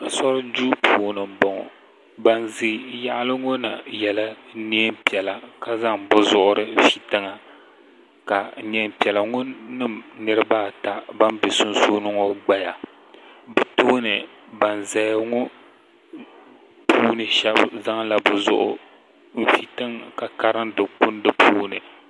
so duu puuni m-bɔŋɔ ban ʒi yaɣili ŋɔ na yela neen' piɛla ka zaŋ bɛ zuɣuri fi tiŋa ka neen' piɛla ŋɔ nima niriba ata ban be sunsuuni ŋɔ gbaya bɛ tooni ban zaya ŋɔ puuni shɛba zaŋla bɛ zuɣu n-fi tiŋa ka karindi kundi puuni.